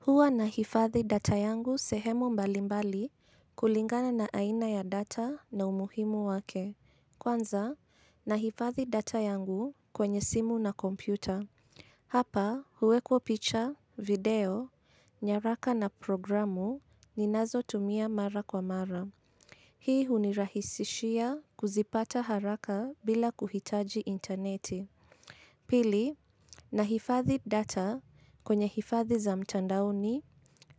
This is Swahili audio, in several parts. Huwa nahifadhi data yangu sehemu mbali mbali kulingana na aina ya data na umuhimu wake, kwanza nahifadhi data yangu kwenye simu na kompyuta. Hapa huwekwa picture, video, nyaraka na programu ninazo tumia mara kwa mara. Hii unirahisishia kuzipata haraka bila kuhitaji interneti. Pili, na hifadhi data kwenye hifadhi za mtandaoni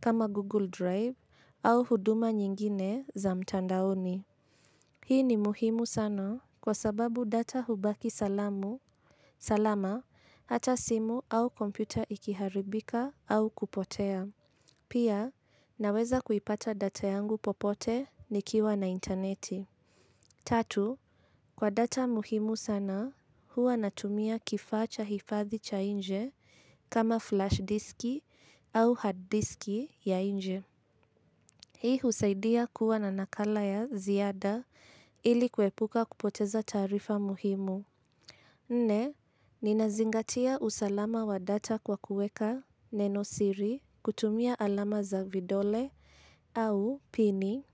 kama Google Drive au huduma nyingine za mtandaoni. Hii ni muhimu sana kwa sababu data hubaki salama hata simu au kompyuta ikiharibika au kupotea. Pia, naweza kuipata data yangu popote nikiwa na interneti. Tatu, kwa data muhimu sana, huwa natumia kifaa cha hifadhi cha nje kama flash diski au hard diski ya nje. Hii husaidia kuwa na nakala ya ziada ili kuepuka kupoteza taarifa muhimu. Nne, ninazingatia usalama wa data kwa kuweka neno siri kutumia alama za vidole au pini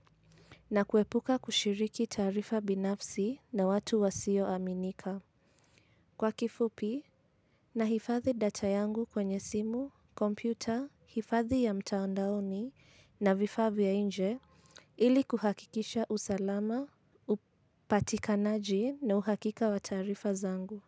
na kuepuka kushiriki taarifa binafsi na watu wasio aminika. Kwa kifupi na hifathi data yangu kwenye simu, kompyuta, hifadhi ya mtaondaoni na vifaa vya nje ili kuhakikisha usalama, upatikanaji na uhakika wa taarifa zangu.